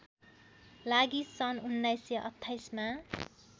लागि सन् १९२८ मा